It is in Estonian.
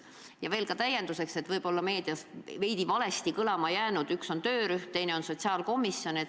Lisan veel täienduseks – kuna võib-olla on meedias veidi valesti kõlama jäänud –, et üks asi on töörühm, teine asi on sotsiaalkomisjon.